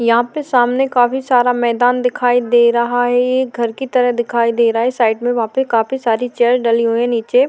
यहाँ पे सामने काफी सारा मैदान दिखाई दे रहा है ये एक घर की तरह दिखाई दे रहा है साइड में वहां पे काफी सारी चेयर डली हुई है नीचे।